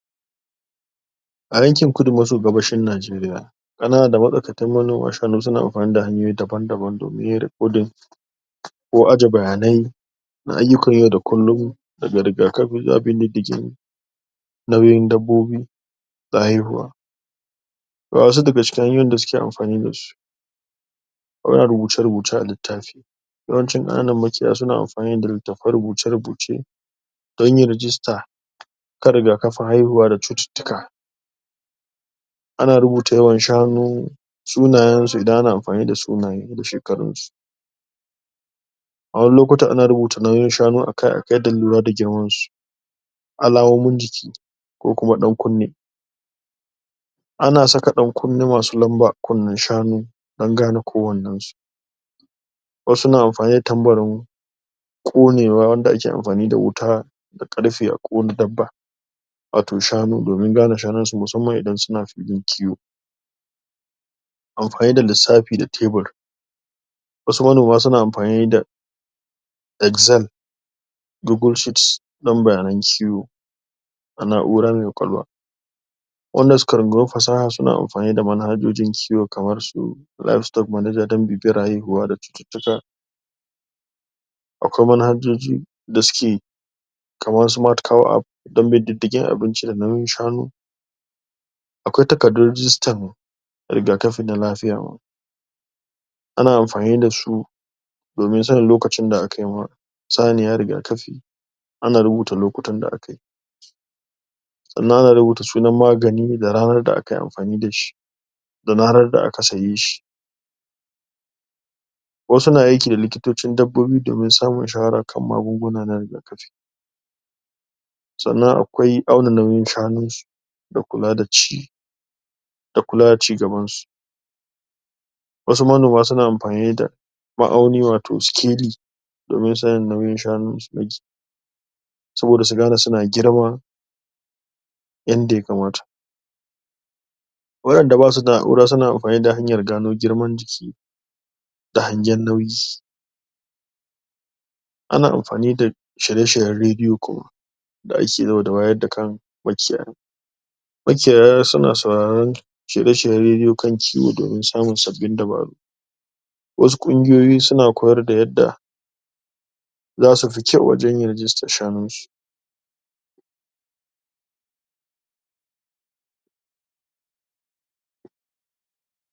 A yankin kudu maso gabashin Najeriya suna amfani da hanyoyi daban-daban domin yin recording ko aje bayanai na ayyukan yau da kullum nauyin dabbobi bayin ruwa wa'yansu daga cikin hanyoyin da suke amfani da su rubuce-rubuce a littafi yawancin ƙananan makiyaya suna amfani da littafan rubuce-rubuce don yin register kan rigakafin haihuwa da cututtuka ana rubuta yawan shanu sunayensu idan ana amfani da sunaye da shekarunsu a wani lukutana ana rubuta nauyin shanun akai-akai don lura da girmansu alamomin jiki ko kuma ɗan kunne ana saka ɗankunne masu lamba a kunnen shanu don gane kowannensu wasu na amfani tambarin ƙonewa wanda ake amfani da wuta da ƙarfe a ƙona dabba wato shanu domin gane shanunsu musamman idan suna filin ciwo amfani da lissafi da tebur wasu manoma suna amfani da Excel dogon sheet don bayanan ciwo a na'ura me ƙwaƙwalwa wanda suka rungumi fasaha suna amfani da manhajojin kiwo kamar su live stork manager don bibiyar haihuwa da cututtuka akwai manhajoji da suke kamarsu martical app don bin diddigin abinci da nauyin shanu akwai takardun rigistar rigakafin da lafiya ana mafani da su domin sanin lokacin da akai wa saniya rigakafi ana rubuta lokutan da akai sannan za a rubuta sunan magani da ranar da akai amfani da shi da ranar da aka sayeshi wasu na aiki da likitocin dabbobi domin samun shawara kan magunguna na rigakafi sannan akwai maganin shanunsu da kula da ci da kula da cigabansu wasu manona suna amfani da ma'auni wato sikeli domin sanin nauyin shanunsu saboda su gane suna girma yanda ya kamata wa'yanda basu da na'ura suna amfani da hanyar gano girman jiki da hangen nauyi ana amfani da shiye-shiryen rediyo da ake yau da wayar da kan makiyaya makiyaya suna sauraron shirye-shiryen rediyo kan ciwo domin samun sabbin dubaru wasu ƙungiyoyi suna koyarda yadda za su fi kyau wajen yin rigistar shanunsu